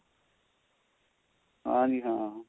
ਹਾਂ ਜੀ ਹਾਂ